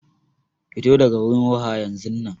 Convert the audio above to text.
Fito daga wurin waha yanzunnan.